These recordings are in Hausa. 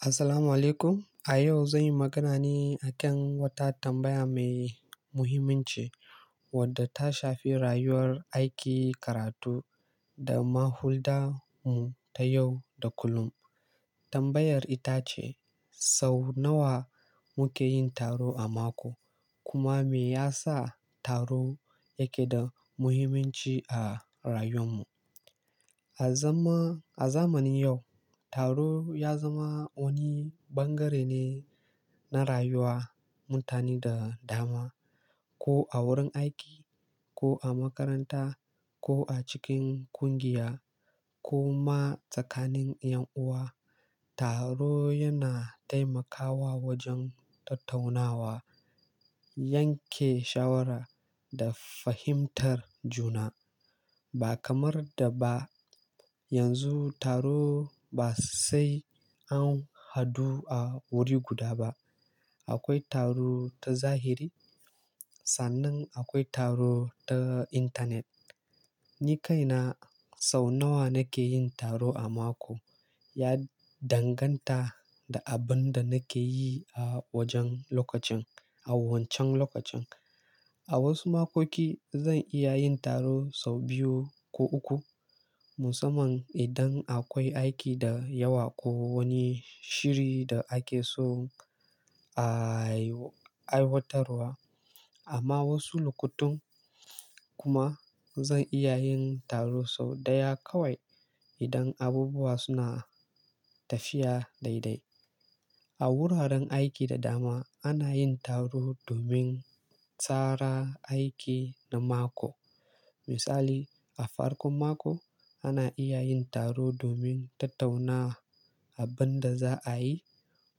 Assalamu alaikum. A yau zan yi magana ne a kan wata tambaya mai muhimmanci wadda ta shafi rayuwar aiki, karatu da mahulda mu ta yau da kullum. Tambayar ita ce, sau nawa muke yin taro a mako kuma me yasa taro yake da muhimmanci a rayuwar mu? A zaman-- a zamanin yau taro ya zama wani ɓangare ne na rayuwar mutane da dama, ko a wurin aiki, ko a makaranta, ko a cikin ƙungiya, ko ma tsakanin ƴan uwa. Taro yana taimakawa wajen tattaunawa, yanke shawara da fahimtar juna. Ba kamar da ba, yanzu taro ba sai an hadu a wuri guda ba. Akwai taro ta zahiri sannan akwai taro ta intanet. Ni kaina sau nawa nake yin taro a mako ya danganta da abin da nake yi a wajen lokacin, a wancan lokacin. A wasu makoki zan iya yin taro sau biyu ko uku, musamman idan akwai aiki da yawa ko wani shiri da ake so a aiw-aiwatarwa. Amma wasu lokutan kuma zan iya yin taro sau ɗaya kawai idan abubuwa suna tafiya daidai. A wuraren aiki da dama ana yin taro domin tsara aiki na mako. Misali, a farkon mako ana iya yin taro domin tattauna abin da za a yi,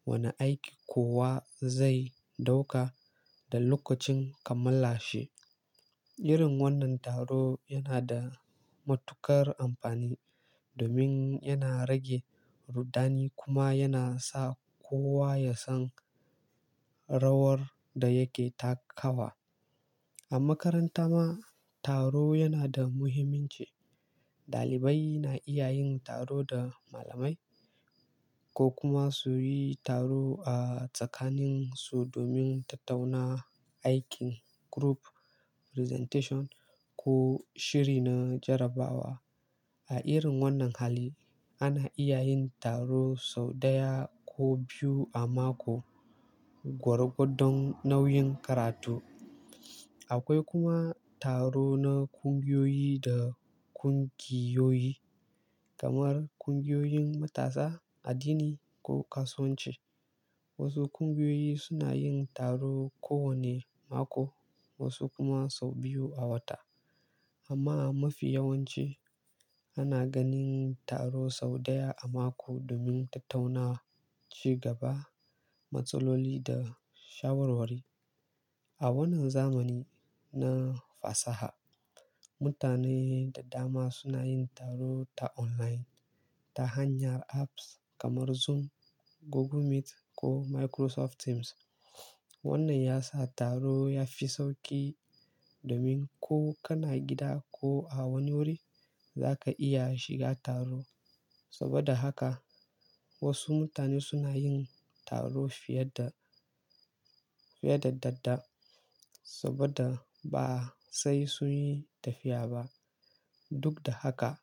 wane aiki kowa zai dauka da lokacin kammalashi. Irin wannan taro yana da matuƙar amfani domin yana rage ruddani kuma yana sa kowa ya san rawar da yake takawa. A makaranta ma taro yana da muhimmanci. Ɗalibai na iya yin taro da malamai ko kuma su yi taro a tsakanin su domin tattauna aikin group presentation ko shiri na jarrabawa. A irin wannan hali ana iya yin taro sau ɗaya ko biyu a mako, gwar godon nauyin karatu. Akwai kuma taro na ƙungiyoyi da ƙungiyoyi, kamar ƙungiyoyin matasa, addini ko kasuwanci. Wasu ƙungiyoyi suna yin taro kowane mako wasu kuma sau biyu a wata. Amma a mafi yawanci ana ganin taro sau ɗaya a mako domin tattauna ci gaba, matsaloli da shawarwari. A wannan zamani na fasaha mutane da dama suna yin taro ta online ta hanyar apps kamar Zoom, Google Meet ko Microsoft Teams. Wannan ya sa taro ya fi sauƙi domin ko kana gida ko a wani wuri za ka iya shiga taro. Saboda haka wasu mutane suna yin taro fiye da, fiye da dadda saboda ba sai sun yi tafiya ba. Duk da haka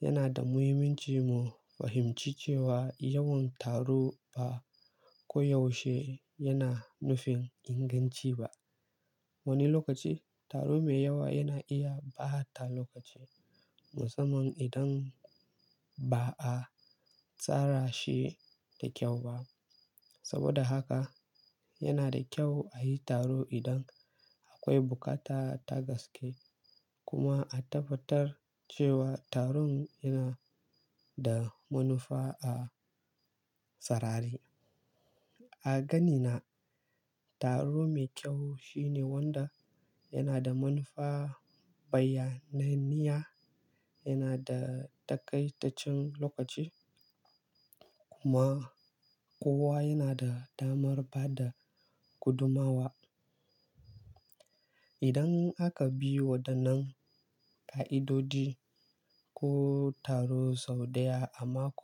yana da muhimmanci mu fahimci cewa yawan taro ba ko yaushe yana nufin inganci ba. Wani lokaci taro mai yawa yana iya ɓata lokaci musamman idan ba a tsara shi da kyau ba. Saboda haka yana da kyau a yi taro idan akwai bukata ta gaske kuma a tabbatar cewa taron yana da manufa a sarari. A ganina taro mai kyau shine wanda yana da manufa, bayyananniya, yana da takaitaccen lokaci kuma kowa yana da damar ba da gudumawa. Idan aka bi waɗannan ƙa'idodi, ko taro sau ɗaya a mako.